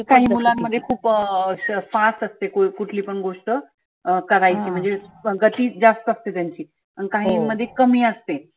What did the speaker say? काही मुलांमध्ये खुप अं श fast असते कुठली पण गोष्ट अं करायची म्हणजे संगतीत जास्त असते त्यांची. आन काहीं मध्ये कमी असते.